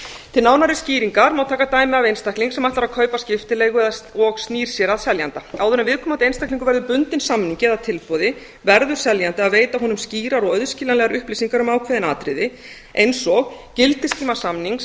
til nánari skýringar má taka dæmi af einstaklingi sem ætlar að kaupa skiptileigu og snýr sér að seljanda áður en viðkomandi einstaklingur verður bundinn samningi eða tilboði verður seljandi að veita honum skýrar og auðskiljanlegar upplýsingar um ákveðin atriði eins og gildistíma samnings